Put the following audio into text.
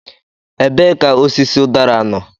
Ebee ka osisi udara nọ?